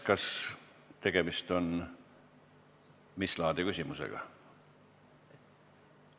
Peeter Ernits, mis laadi küsimusega tegu on?